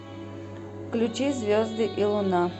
включи звезды и луна